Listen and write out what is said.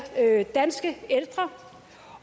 danske ældre